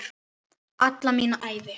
Alla mína ævi.